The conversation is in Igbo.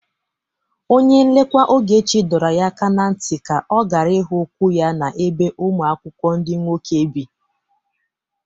Onye nlekwa Ogechi dọrọ ya aka na ntị ka ọ gara ịhụ ụkwụ ya n'ebe ụmụ akwụkwọ ndị nwoke bi